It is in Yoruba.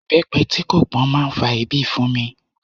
Ibepe tí kò pọn máa ń fa èébì fún mi.